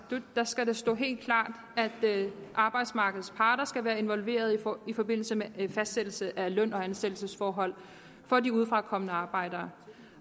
det skal stå helt klart at arbejdsmarkedets parter skal involveres i forbindelse med en fastsættelse af løn og ansættelsesforholdene for de udefrakommende arbejdere